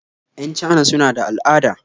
Yan Chana suna da al'ada